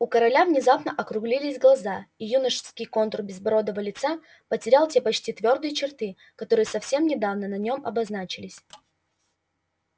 у короля внезапно округлились глаза и юношеский контур безбородого лица потерял те почти твёрдые черты которые совсем недавно на нём обозначались